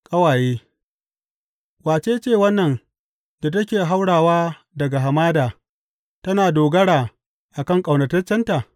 Ƙawaye Wace ce wannan da take haurawa daga hamada tana dogara a kan ƙaunataccenta?